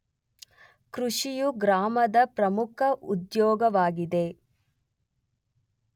ಕೃಷಿಯು ಗ್ರಾಮದ ಪ್ರಮುಖ ಉದ್ಯೋಗವಾಗಿದೆ.